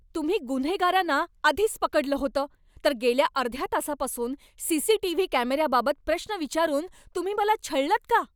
तुम्ही गुन्हेगारांना आधीच पकडलं होतं, तर गेल्या अर्ध्या तासापासून सी.सी.टी.व्ही. कॅमेऱ्याबाबत प्रश्न विचारून तुम्ही मला छळलंत का?